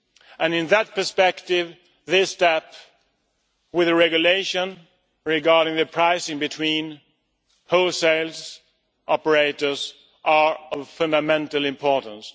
And in that perspective, this step, with a regulation regarding the pricing between wholesales operators, are of fundamental importance.